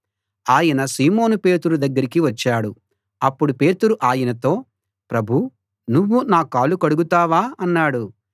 ఆయన సీమోను పేతురు దగ్గరికి వచ్చాడు అప్పుడు పేతురు ఆయనతో ప్రభూ నువ్వు నా కాళ్ళు కడుగుతావా అన్నాడు